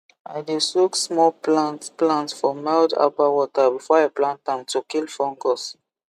i dey soak small plant plant for mild herbal water before i plant am to kill fungus